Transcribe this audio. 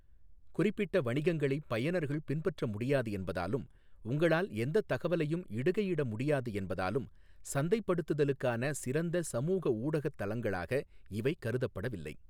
குறிப்பிட்ட வணிகங்களைப் பயனர்கள் பின்பற்ற முடியாது என்பதாலும் உங்களால் எந்தத் தகவலையும் இடுகையிட முடியாது என்பதாலும் சந்தைப்படுத்துதலுக்கான சிறந்த சமூக ஊடகத் தளங்களாக இவை கருதப்படவில்லை.